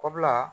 O bila